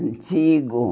Antigo.